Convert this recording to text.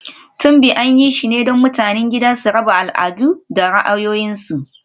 Tunbit, an yi shi ne don mutanen gida su raba al'adu da ra'ayoyinsu.